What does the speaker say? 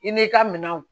I n'i ka minɛnw